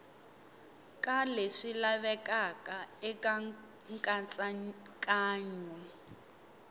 ka leswi lavekaka eka nkatsakanyo